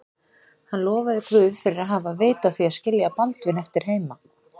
Hann lofaði Guð fyrir að hafa haft vit á því að skilja Baldvin eftir heima.